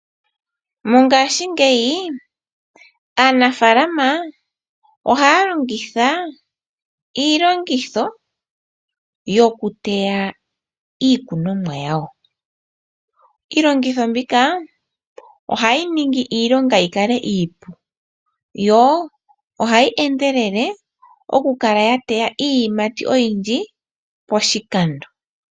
Mongaashingeyi, aanafaalama ohaya longitha iilongitho yokuteya iikunonwa yawo. Iilongitho mbika ohayi ningi iilonga iipu. Yo ohayi endelele, tayi teya iiyimati oyindji poshikando.